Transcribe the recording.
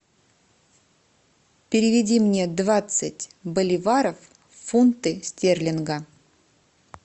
переведи мне двадцать боливаров в фунты стерлинга